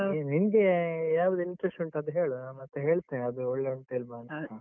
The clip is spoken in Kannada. ಏ ನಿಂಗೆ ಯಾವ್ದು interest ಉಂಟು ಅದು ಹೇಳು, ನಾನ್ ಮತ್ತೆ ಹೇಳ್ತೇನೆ ಅದು ಒಳ್ಳೇ ಉಂಟಾ ಇಲ್ವಾ ಅಂತ.